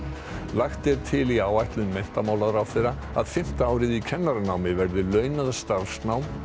lagt er til í áætlun menntamálaráðherra að fimmta árið í kennaranámi verði launað starfsnám